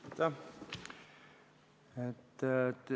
Aitäh!